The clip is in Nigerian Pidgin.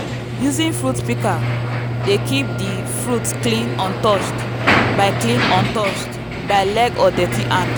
using fruit pika dey keep di fruit clean untouched by clean untouched by leg or dirty hand.